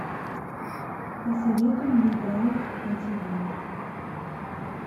посоветуй мне драйв на тв